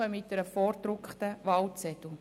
Hier erhalten Sie einen vorgedruckten Wahlzettel.